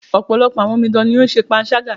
Ọ̀pọ̀lọpọ̀ àwọn omidan ní o ń ṣe panṣágà.